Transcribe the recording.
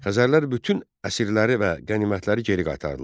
Xəzərlər bütün əsirləri və qənimətləri geri qaytardılar.